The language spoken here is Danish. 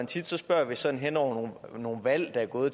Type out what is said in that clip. tit spørger vi sådan hen over nogle valgperioder